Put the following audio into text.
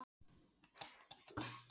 Ekki mun hafa verið ofarlega í huga